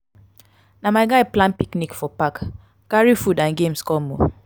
na my guy plan picnic for park carry food and games come o.